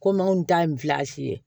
Kom'anw ta ye ye